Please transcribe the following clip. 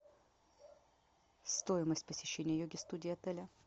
стоимость посещения йоги студии отеля